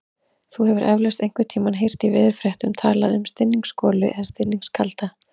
Þú hefur eflaust einhvern tímann heyrt í veðurfréttum talað um stinningsgolu eða stinningskalda.